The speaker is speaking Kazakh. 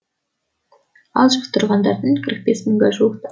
ал жұқтырғандардың қырық бес мыңға жуық